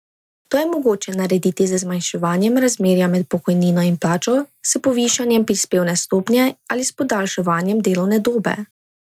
To je mogoče narediti z zmanjševanjem razmerja med pokojnino in plačo, s povišanjem prispevne stopnje ali s podaljšanjem delovne dobe.